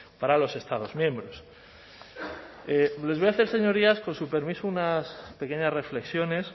para los estados miembros les voy a hacer señorías con su permiso unas pequeñas reflexiones